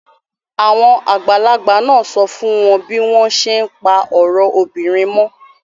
Àwọn àgbààgbà máa sọ fún wọ́n bí wọ́n ṣé ń pa ọ̀rọ̀ obìnrin mọ́.